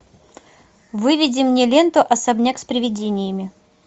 выведи мне ленту особняк с приведениями